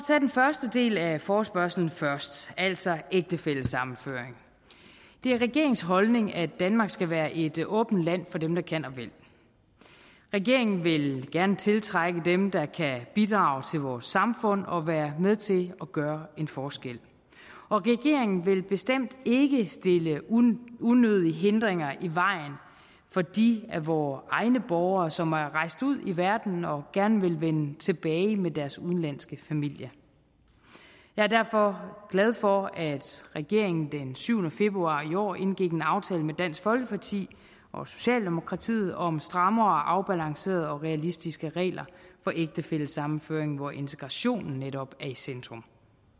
tage den første del af forespørgslen først altså ægtefællesammenføring er det regeringens holdning at danmark skal være et åbent land for dem der kan og vil regeringen vil gerne tiltrække dem der kan bidrage til vores samfund og være med til at gøre en forskel og regeringen vil bestemt ikke stille unødige hindringer i vejen for de af vore egne borgere som er rejst ud i verden og gerne vil vende tilbage med deres udenlandske familier jeg er derfor glad for at regeringen den syvende februar i år indgik en aftale med dansk folkeparti og socialdemokratiet om strammere og afbalancerede og realistiske regler for ægtefællesammenføring hvor integrationen netop er i centrum